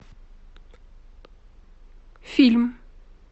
фильм